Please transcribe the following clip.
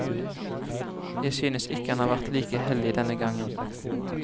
Jeg synes ikke han har vært like heldig denne gangen.